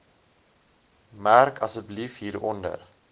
merk asseblief hieronder